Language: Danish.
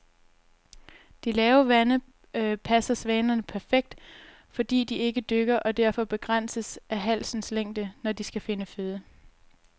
De lave vande passer svanerne perfekt, fordi de ikke dykker og derfor begrænses af halsens længde, når de skal finde føde.